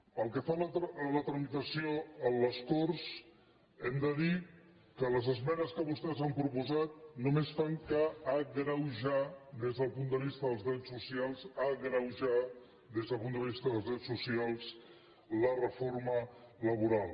pel que fa a la tramitació a les corts hem de dir que les esmenes que vostès han proposat només fan que agreu·jar des del punt de vista dels drets socials agreujar des del punt de vista dels drets socials la reforma laboral